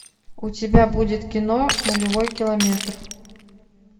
у тебя будет кино нулевой километр